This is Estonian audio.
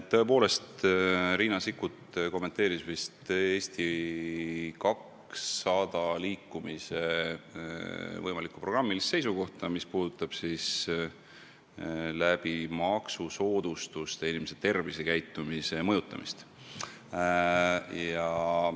Tõepoolest, Riina Sikkut kommenteeris vist Eesti 200 liikumise võimalikku programmilist seisukohta, mis puudutab maksusoodustuste abil inimeste tervisekäitumise mõjutamist.